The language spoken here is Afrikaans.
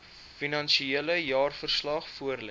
finansiële jaarverslag voorlê